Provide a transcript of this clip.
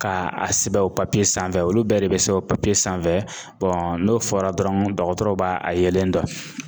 Ka a sɛbɛn o sanfɛ olu bɛɛ de bɛ sɛbɛn o papiye sanfɛ n'o fɔra dɔrɔn dɔgɔtɔrɔ b'a a yelen dɔn.